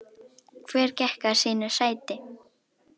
Hver gekk að sínu sæti.